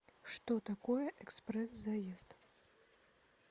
что такое экспресс заезд